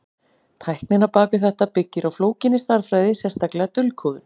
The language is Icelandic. Tæknin á bak við þetta byggir á flókinni stærðfræði, sérstaklega dulkóðun.